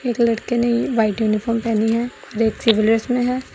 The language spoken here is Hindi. एक लड़के ने व्हाइट यूनिफॉर्म पहनी है एक सिविल ड्रेस में है।